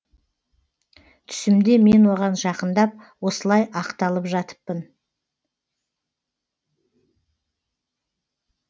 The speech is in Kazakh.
түсімде мен оған жақындап осылай ақталып жатыппын